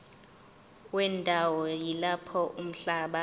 wendawo yalapho umhlaba